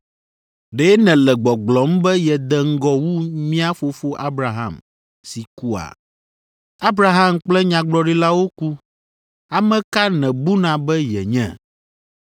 Ɖe nèle gbɔgblɔm be yede ŋgɔ wu mía fofo Abraham si kua? Abraham kple nyagblɔɖilawo ku. Ame ka nèbuna be yenye?”